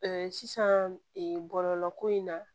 sisan bɔlɔlɔ ko in na